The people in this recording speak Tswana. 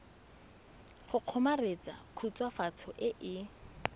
go kgomaretsa khutswafatso e e